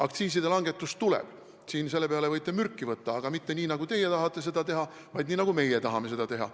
Aktsiiside langetus tuleb – selle peale võite mürki võtta –, aga mitte nii, nagu teie tahate seda teha, vaid nii, nagu meie tahame seda teha.